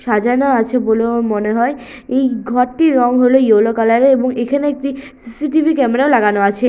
সাজানো আছে বলে আমার মনে হয় এই ঘরটির রং হল ইয়েলো কালার এর এবং এখানে একটি সি.সি.টি.ভি. ক্যামেরা লাগানো আছে।